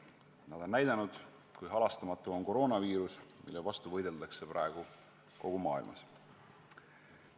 See aeg on näidanud, kui halastamatu on koroonaviirus, mille vastu võideldakse praegu kogu maailmas.